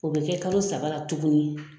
O bi kɛ kalo saba tuguni